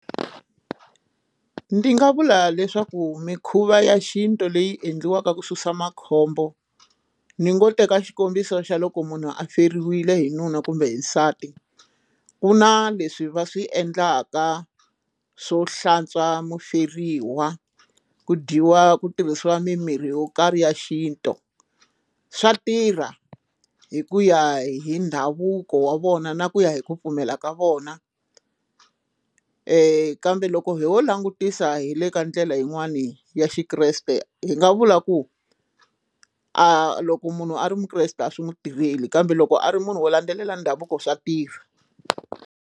Ndzi nga vula leswaku mikhuva ya xintu leyi endliwaka ku susa makhombo ni ngo teka xikombiso xa loko munhu a feriwile hi nuna kumbe nsati ku na leswi va swi endlaka swo hlantswa muferiwa ku dyiwa ku tirhisiwa mimirhi yo karhi ya xintu swa tirha hi ku ya hi ndhavuko wa vona na ku ya hi ku pfumela ka vona kambe loko wo langutisa hi le ka ndlela yin'wani ya xikreste hi nga vula ku a loko munhu a ri mukreste a swi n'wi tirheli kambe loko a ri munhu wo landzelela ndhavuko swa tirha.